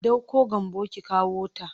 Ɗauko Gambo ki kawota!